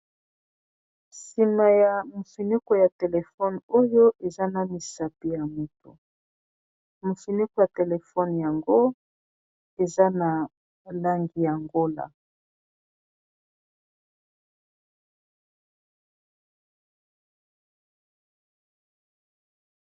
Sima ya mofineko ya telefone oyo eza na misapi ya moto mofineko ya telefone yango eza na langi ya ngola.